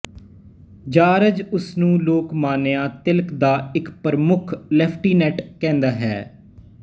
George ਉਸ ਨੂੰ ਲੋਕਮਾਨਿਆ ਤਿਲਕ ਦਾ ਇੱਕ ਪ੍ਰਮੁੱਖ ਲੈਫਟੀਿਨੈਂਟ ਕਹਿੰਦਾ ਹੈ